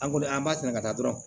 An kɔni an b'a sɛnɛ ka taa dɔrɔn